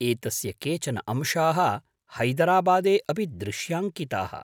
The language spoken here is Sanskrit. एतस्य केचन अंशाः हैदराबादे अपि दृश्याङ्किताः।